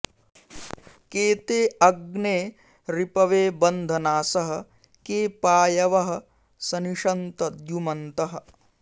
के ते अग्ने रिपवे बन्धनासः के पायवः सनिषन्त द्युमन्तः